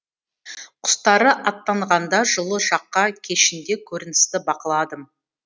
құстары аттанғанда жылы жаққа кешінде көріністі бақыладым